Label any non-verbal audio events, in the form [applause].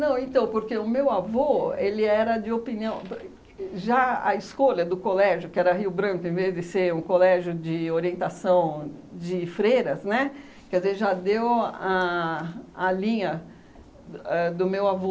Não, então porque o meu avô era de opinião... [unintelligible] Já a escolha do colégio, que era Rio Branco, em vez de ser um colégio de orientação de freiras, né, quer dizer, já deu a a linha a do meu avô.